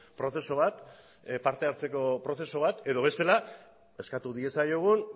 prozesu bat partehartzeko prozesu bat edo bestela eskatu diezaiogun